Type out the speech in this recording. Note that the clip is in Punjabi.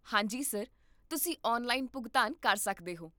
ਹਾਂ ਜੀ, ਸਰ, ਤੁਸੀਂ ਆਨਲਾਈਨ ਭੁਗਤਾਨ ਕਰ ਸਕਦੇ ਹੋ